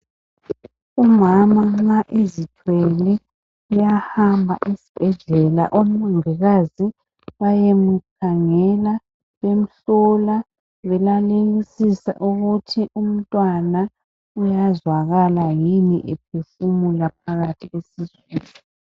Umama nxa ezithwele uyahamba esibhedlela omongikazi bayemukhangela bemhlola belalelisisa ukuthi umntwana uyazwakala yini ephefumula phakathi esiswini.